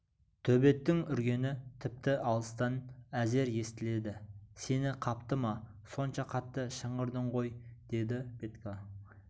төбеттің үргені тіпті алыстан әзер естіледі сені қапты ма сонша қатты шыңғырдың ғой деді петька